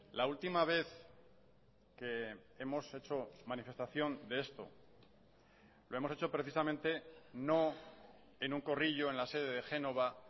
la última vez que hemos hecho manifestación de esto lo hemos hecho precisamente no en un corrillo en la sede de génova